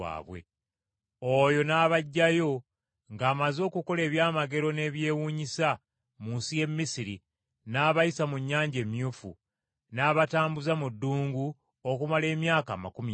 Oyo n’abaggyayo ng’amaze okukola ebyamagero n’ebyewuunyisa, mu nsi y’e Misiri, n’abayisa mu Nnyanja Emyufu , n’abatambuza mu ddungu okumala emyaka amakumi ana.